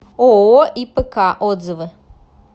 ооо ипк отзывы